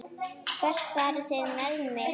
Hvert farið þið með mig?